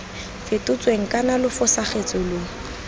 fetotsweng kana lo fosagatse lo